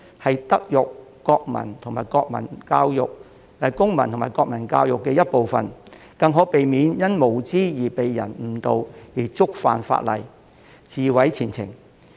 這是德育、公民及國民教育的一部分，更可避免他們因無知而被人誤導，觸犯法例，自毀前程。